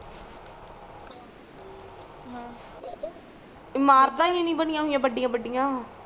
ਅਮ ਇਮਾਰਤਾਂ ਸੀ ਨੀ ਬਣੀਆਂ ਹੋਇਆਂ ਬੜੀਆਂ ਬੜੀਆਂ